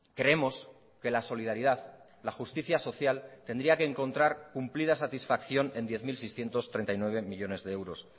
creemos que la solidaridad la justicia social tendría que encontrar cumplida satisfacción en diez mil seiscientos treinta y nueve millónes de euros